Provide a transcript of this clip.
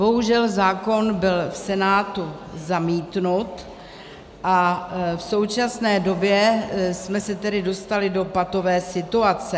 Bohužel zákon byl v Senátu zamítnut a v současně době jsme se tedy dostali do patové situace.